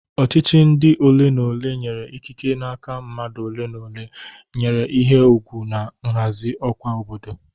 Ọchịchị ndi ole na ole nyere ikike n'aka mmadụ ole na ole nwere ihe ùgwù na nhazi ọkwa obodo.